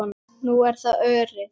Nú er það Örið.